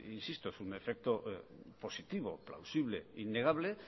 insisto es un efecto positivo plausible innegable